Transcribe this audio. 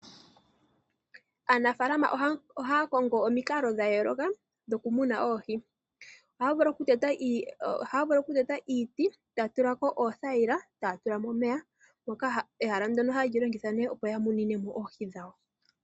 Aanafalama ohaya kongo omikalo dhayooloka dhokumuna oohi. Ohaya vulu okuteta iiti, taya tula ko oothayila, taya tula mo omeya. Ehala ndono ohaye li longitha nee, opo ya munine mo oohi dhawo.